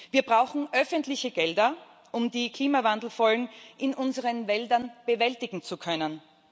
Wir brauchen öffentliche Gelder, um die Klimawandelfolgen in unseren Wäldern bewältigen zu können.